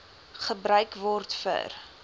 gebruik word vir